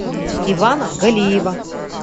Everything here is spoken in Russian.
ивана галиева